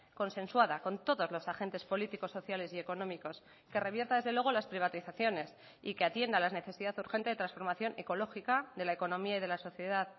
consensuada con todos los agentes políticos sociales y económicos que revierta desde luego las privatizaciones y que atienda la necesidad urgente de transformación ecológica de la economía y de la sociedad